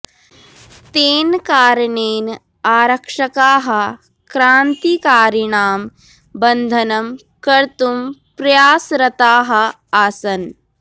तेन कारणेन आरक्षकाः क्रान्तिकारिणां बन्धनं कर्तुं प्रयासरताः आसन्